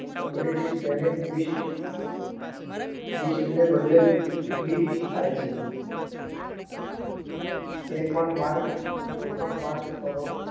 અંગ્રેજી spelling Bist ને બદલે બીટ થાય છે તે પણ Mark તે પણ Mark કરો